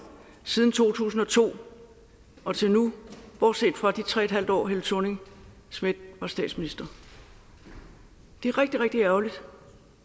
siden to tusind og to og til nu bortset fra de tre et halvt år helle thorning schmidt var statsminister det er rigtig rigtig ærgerligt